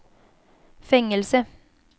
fängelse